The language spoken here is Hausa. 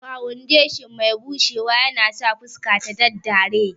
Fawundeshin mai bushewa yanasa fuska ta daddare